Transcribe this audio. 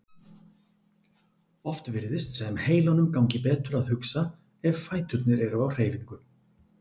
Oft virðist sem heilanum gangi betur að hugsa ef fæturnir eru á hreyfingu.